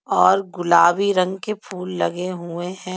और गुलाबी रंग के फूल लगे हुए हैं।